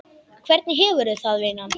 Hvernig hefurðu það, vinan?